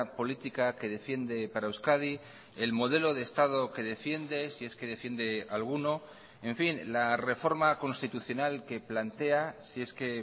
política que defiende para euskadi el modelo de estado que defiende si es que defiende alguno en fin la reforma constitucional que plantea si es que